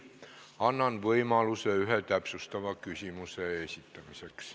Annan võimaluse iga põhiküsimuse puhul ühe täpsustava küsimuse esitamiseks.